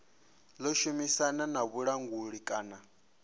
ḓo shumisana na vhulanguli kana